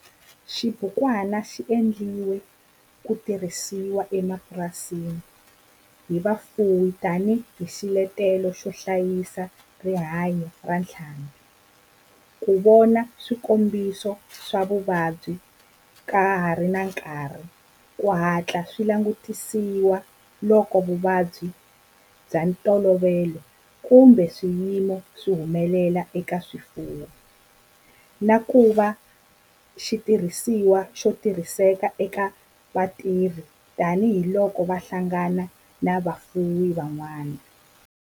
Xibukwana xi endliwe ku tirhisiwa emapurasini hi vafuwi tani hi xiletelo xo hlayisa rihanyo ra ntlhambhi, ku vona swikombiso swa vuvabyi ka ha ri na nkarhi ku hatla swi langutisiwa loko vuvabyi bya ntolovelo kumbe swiyimo swi humelela eka swifuwo, na ku va xitirhisiwa xo tirhiseka eka vatirhi tani hi loko va hlangana na vafuwi van'wana.